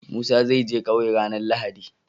Musa zai je ƙauye ranar lahadi